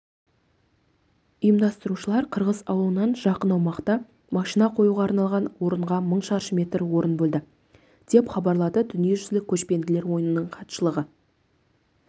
ұйымдастырушылар қырғыз ауылынан жақын аумақта машина қоюға арналған орынға мың шаршы метр орын бөлді деп хабарлады дүниежүзілік көшпенділер ойынының хатшылығы